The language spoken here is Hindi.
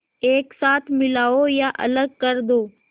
एक साथ मिलाओ या अलग कर दो